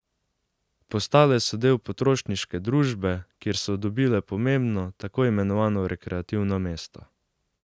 Postale so del potrošniške družbe, kjer so dobile pomembno, tako imenovano rekreativno mesto.